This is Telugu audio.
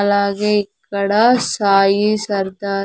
అలాగే ఇక్కడ సాయి సర్దార్.